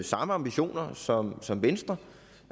samme ambitioner som som venstre